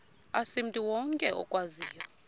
asimntu wonke okwaziyo